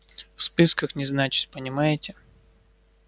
в списках не значусь понимаете